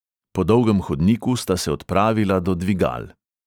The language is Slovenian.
Po dolgem hodniku sta se odpravila do dvigal.